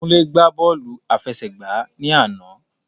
Kúnlé gbá bọ́ọ̀lù àfẹsẹ̀gbá ni àná.